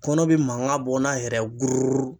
Kɔnɔ bi mankan bɔ n'a yɛrɛ ye gururu.